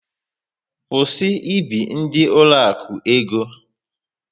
Kwụsị ị bi ndị ụlọakụ ego!